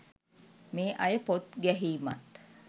මේ අය පොත් ගැහීමත්